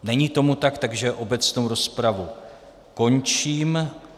Není tomu tak, takže obecnou rozpravu končím.